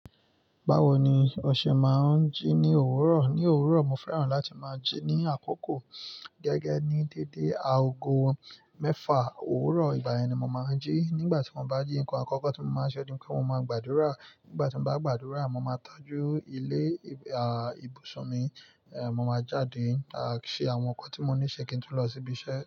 Báwo ni o ṣe máa ń jí ní òwúrọ̀? Ní òwúrọ̀, mo fẹ́ràn láti máa jí ní àkókò gẹ́gẹ́ ní dédé aago mẹ́fà òwúrọ̀. Ìgbà yẹn ni mo máa ń jí. Nígbà tí mo bá jí, nǹkan àkọ́kọ́ tí mo máa ṣe ohun ní pé mo máa gbàdúrà. Nígbà tí mo bá gbàdúrà, mo máa tọ́jú ilé, à, ibùsùn mi. È, mo máa jáde láti ṣe àwọn nǹkan tí mo ní ṣe kí n tún lọ síbi iṣẹ́.